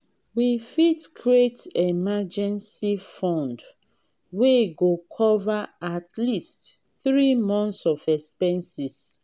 we fit create emergency fund wey go cover at least three months of expenses.